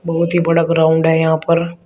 बहुत ही बड़ा ग्राउंड है यहां पर।